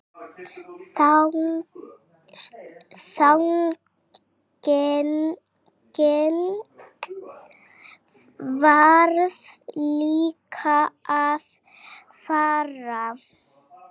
Þannig varð líka að fara.